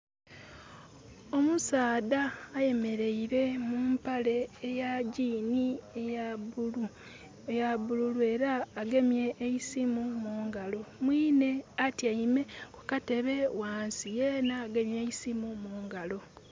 Omusaadha ayemeleire mu mpale eya gini eya bululu era agemye eisimu mungalo, mwinhe atyeime kukatebe ghansi yena agemye eisimu mungalo.